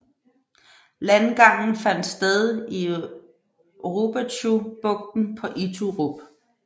Landgangen fandt sted i Rubetzubugten på Iturup